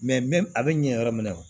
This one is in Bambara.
a bɛ ɲɛ yɔrɔ min na